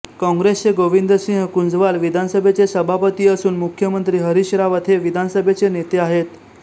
कॉंग्रेसचे गोविंद सिंह कुंजवाल विधानसभेचे सभापती असून मुख्यमंत्री हरीश रावत हे विधानसभेचे नेते आहेत